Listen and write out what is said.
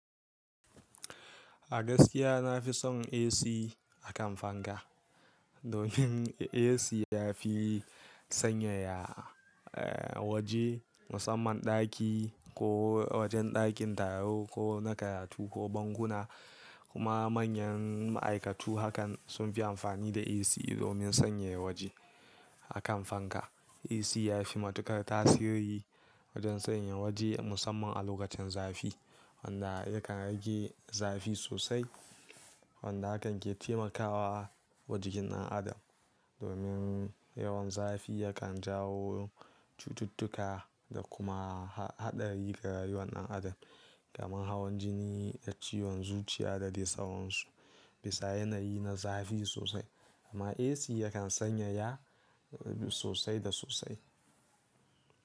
A gaskiya na fi son AC a kan fanka. Domin AC ya fi sanyaya, eh waje musamman ɗaki ko wajen ɗakin taro ko na karatu ko bankuna kuma manyan ma'aikatu hakan sun fi amfani da AC domin sanyaya waje akan fanka. AC ya fi matuƙar tasiri wajen sanyaya waje musamman a lokacin zafi wanda yakan rage zafi sosai wanda hakan ke taimakawa jikin ɗan adam. Domin yawan zafi yakan jawo cututtuka da kuma haɗari ga rayuwar ɗan adam kamar hawan jini da ciwon zuciya da dai sauransu. Bisa yanayi na zafi sosai amma AC yakan sanyaya sosai da sosai.